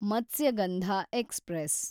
Matsyagandha express